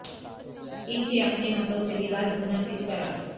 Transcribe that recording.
ان کے اپنے ہاتھوں سے لباس بننا کس طرح